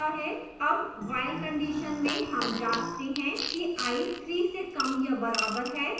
अब while condition में हम जाँचते हैं कि i 3 से कम या बराबर है